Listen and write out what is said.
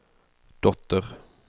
dotter